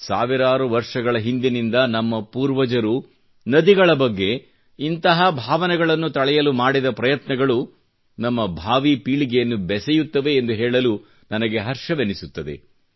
ಸಾವಿರಾರು ವರ್ಷಗಳ ಹಿಂದಿನಿಂದ ನಮ್ಮ ಪೂರ್ವಜರು ನದಿಗಳ ಬಗ್ಗೆ ಇಂತಹ ಭಾವನೆಗಳನ್ನು ತಳೆಯಲು ಮಾಡಿದ ಪ್ರಯತ್ನಗಳು ನಮ್ಮ ಭಾವಿ ಪೀಳಿಗೆಯನ್ನು ಬೆಸೆಯುತ್ತದೆ ಎಂದು ಹೇಳಲು ನನಗೆ ಹರ್ಷವೆನಿಸುತ್ತದೆ